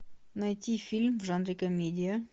найти фильм в жанре комедия